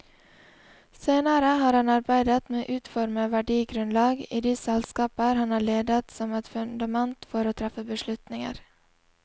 Senere har han arbeidet med å utforme verdigrunnlag i de selskaper han har ledet som et fundament for å treffe beslutninger.